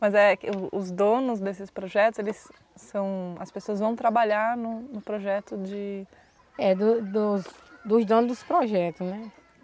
Mas é que os os donos desses projetos, eles são, as pessoas vão trabalhar no no projeto de... É, do dos dos donos dos projetos, né?